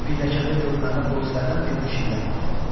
Pilləkəndə görünəndə polislərdən birinə şillə vurdu.